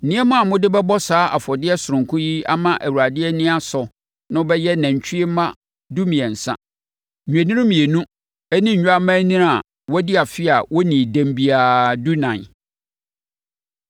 Nneɛma a mode bɛbɔ saa afɔdeɛ sononko yi ama Awurade ani asɔ no bɛyɛ nantwie mma dumiɛnsa, nnwennini mmienu ne nnwammaanini a wɔadi afe a wɔnnii dɛm biara dunan.